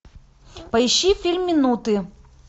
поищи фильм минуты